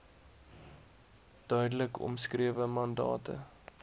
duidelik omskrewe mandate